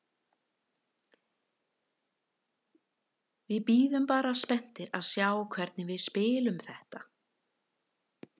Við bíðum bara spenntir að sjá hvernig við spilum þetta.